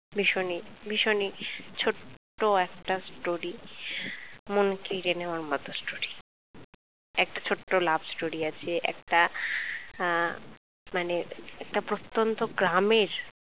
ভীষণই ভীষণই ছোট্ট একটা story মন কেড়ে নেওয়ার মতো একটা story একটা ছোট্ট love story আছে একটা আহ মানে একটা প্রত্যন্ত গ্রামের